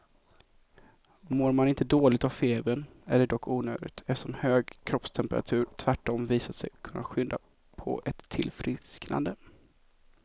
Mår man inte dåligt av febern är det dock onödigt, eftersom hög kroppstemperatur tvärtom visat sig kunna skynda på ett tillfrisknande.